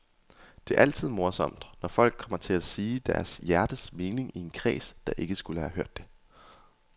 Det er altid morsomt, når folk kommer til at sige deres hjertens mening i en kreds, der ikke skulle have hørt det.